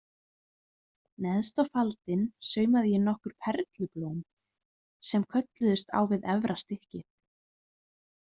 Neðst á faldinn saumaði ég nokkur perlublóm sem kölluðust á við efra stykkið.